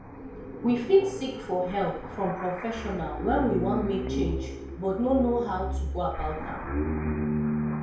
we fit seek for help from professional when we wan make change but no know how to go about am